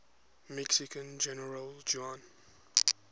mexican general juan